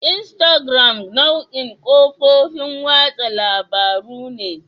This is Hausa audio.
Instagram nau'in kafofin watsa labarun ne.